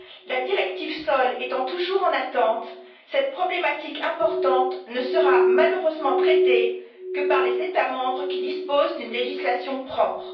La directive sols étant toujours en attente, cette problématique importante ne sera malheureusement traitée que par les États membres qui disposent d'une législation propre.